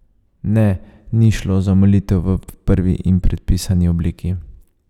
Ne, ni šlo za molitev v prvi in predpisani obliki.